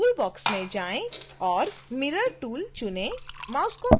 अब tool box में जाएँ और mirror tool चुनें